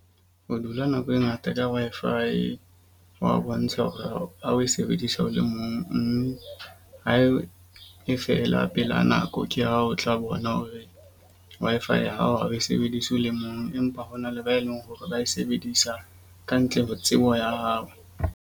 Ho dula nako e ngata ka Wi-Fi hwa bontsha hore ha o ha o e sebedisa o le mong. Mme ha e fela pela nako ke ha o tla bona ho re Wi-Fi ya hao ha o e sebedise o le mong. Empa ho na le ba e leng hore ba e sebedisa ka ntle ho tsebo ya hao.